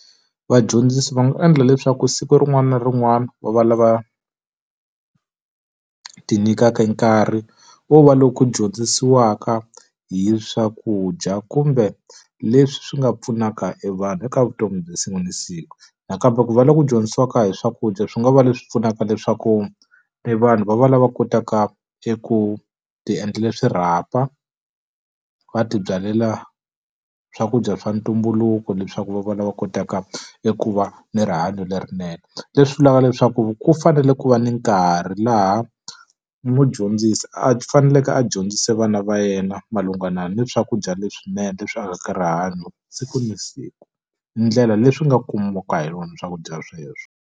Vadyondzisi va nga endla leswaku siku rin'wana na rin'wana va va lava ti nyikaka nkarhi wo va loko ku dyondzisiwaka hi swakudya kumbe leswi swi nga pfunaka e vanhu eka vutomi bya siku na siku. Nakambe va ku va lava ku dyondzisiwaka hi swakudya swi nga va leswi pfunaka leswaku e vanhu va va lava kotaka eku ti endlela swirhapa, va tibyalela swakudya swa ntumbuluko leswaku va va lava kotaka eku va ni rihanyo lerinene. Leswi vulaka leswaku ku fanele ku va ni nkarhi laha mudyondzisi a faneleke a dyondzisa vana va yena malungana ni swakudya leswinene leswi akaka rihanyo siku na siku, ndlela leyi swi nga kumiwaka hi yona swakudya sweswo.